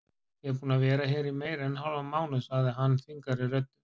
Ég er búinn að vera hér í meira en hálfan mánuð sagði hann þvingaðri röddu.